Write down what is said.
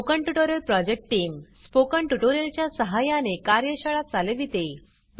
spoken tutorial project team spoken tutorial च्या सहाय्याने कार्यशाळा चालविते